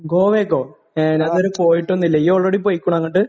ഗോവക്കോ? ഞാൻ ഇത് വരെ പോയിട്ടൊന്നുമില്ല. നീ ഓൾറെഡി പോയിട്ടില്ലേ അങ്ങോട്?